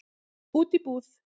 Út í búð?